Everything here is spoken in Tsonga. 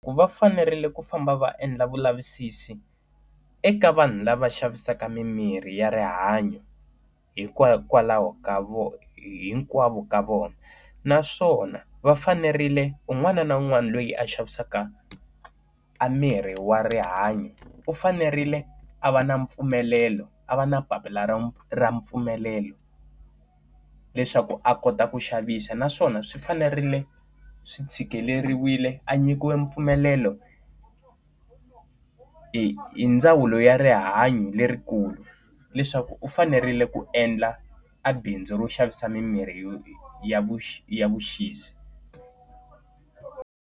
Ku va fanerile ku famba va endla vulavisisi eka vanhu lava xavisaka mimirhi ya rihanyo hikokwalaho ka vo hinkwavo ka vona. Naswona va fanerile un'wana na un'wana loyi a xavisaka a miri wa rihanyo, u fanerile a va na mpfumelelo, a va na papila ra ra mpfumelelo leswaku a kota ku xavisa naswona swi fanerile swi tshikileriwile a nyikiwe mpfumelelo hi hi ndzawulo ya rihanyo lerikulu, leswaku u fanerile ku endla a bindzu ro xavisa mimirhi yo ya vu xi ya vuxisi.